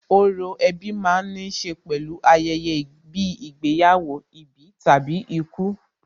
Orò ẹbí ma ń níṣe pẹ̀lú ayẹyẹ bíi ìgbéyàwó, ìbí tàbí ikú.